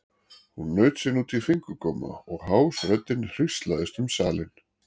Hún naut sín út í fingurgóma og hás röddin hríslaðist um salinn.